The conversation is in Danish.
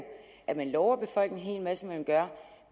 at de lover befolkningen at gøre